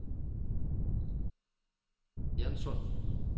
Egernsund